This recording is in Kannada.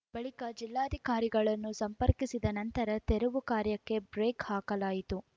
ಬಳಿಕ ಜಿಲ್ಲಾಧಿಕಾರಿಗಳನ್ನು ಸಂಪರ್ಕಿಸಿದ ನಂತರ ತೆರವು ಕಾರ್ಯಕ್ಕೆ ಬ್ರೇಕ್ ಹಾಕಲಾಯಿತು